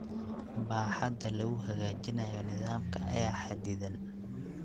Baaxadda lagu hagaajinayo nidaamka ayaa xaddidan.